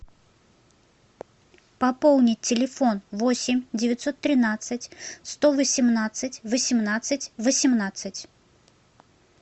пополнить телефон восемь девятьсот тринадцать сто восемнадцать восемнадцать восемнадцать